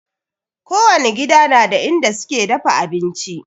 Kowani gida na da inda suke dafa abinci